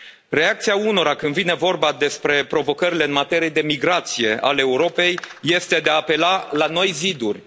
Reacția unora când vine vorba despre provocările în materie de migrație ale Europei este de a apela la noi ziduri.